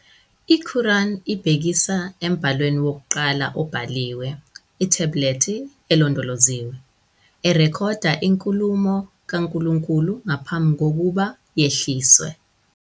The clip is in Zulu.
I-Quran ibhekisa embhalweni wokuqala obhaliwe, "ithebhulethi elondoloziwe," erekhoda inkulumo kaNkulunkulu nangaphambi kokuba yehliswe.